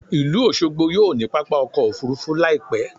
Ìlú Òṣogbo yóò ní pápá ọkọ̀ Òfurufú láì pẹ́.